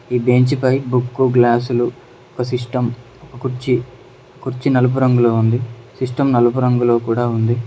ఈ బెంచి పై బుక్కు గ్లాసులు ఒక సిస్టం ఒక కుర్చీ కుర్చీ నలుపు రంగులో ఉంది సిస్టం నలుపు రంగులో కూడా ఉంది.